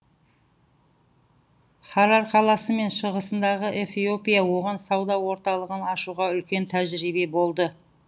харар қаласы мен шығысындағы эфиопия оған сауда орталығын ашуға үлкен тәжірбие болды